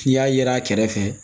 N'i y'a ye a kɛrɛfɛ